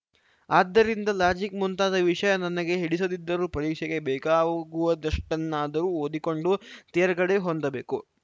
ಆದ್ದರಿಂದ ಲಾಜಿಕ್‌ ಮುಂತಾದ ವಿಷಯ ನಿನಗೆ ಹಿಡಿಸದಿದ್ದರೂ ಪರೀಕ್ಷೆಗೆ ಬೇಕಾಗುವದಷ್ಟನ್ನಾದರೂ ಓದಿಕೊಂಡು ತೇರ್ಗಡೆ ಹೊಂದಬೇಕು